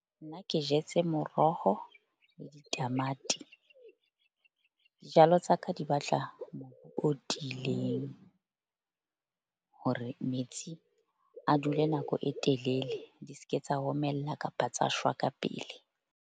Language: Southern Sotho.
Ke jetse moroho, tamati. Jalo tsa ka di batla o tiileng hore metsi a dule nako e telele. Di ske tsa omella kapa tsa shwa ka pele.